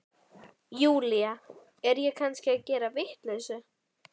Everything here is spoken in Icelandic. Júlía, er ég kannski að gera vitleysu?